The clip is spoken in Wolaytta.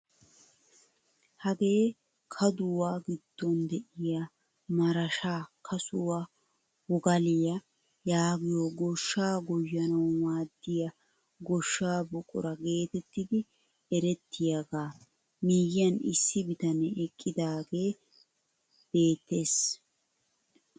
Hagee kaaduwaa giddon de'iyaa marashshaa kasuwaa wogaliyaa yaagiyoo gooshshaa goyyanawu maaddiyaa goshshaa buqura getettidi erettiyaaga miyiyaan issi bitanee eqqiidage beettees.